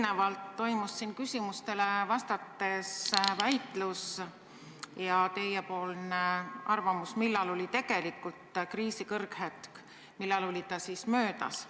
Eelnevalt toimus siin küsimustele vastates väitlus ja kõlas teie arvamus, millal oli kriisi kõrghetk ja millal oli see siis möödas.